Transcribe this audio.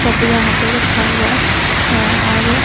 सब यहां पे रखा हुआ है और--